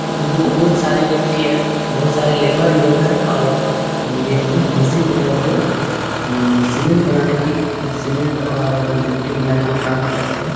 यहाँ पे बहुत सारे गिट्टी हैं बहुत सारे लेबर लोग हैं और ये जो मशीन है वो सीमेंट बनाने के सीमेंट और गिट्टी मिलाने के काम करते है।